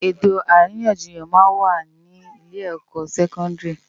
Etó árinyánjiyán má n wá ni ilé èkò sèkòndiri